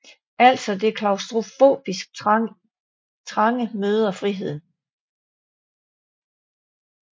Altså det klaustrofobisk trange møder friheden